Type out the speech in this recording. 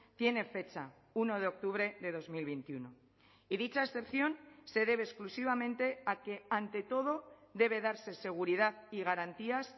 tiene fecha uno de octubre de dos mil veintiuno y dicha excepción se debe exclusivamente a que ante todo debe darse seguridad y garantías